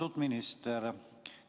Austatud minister!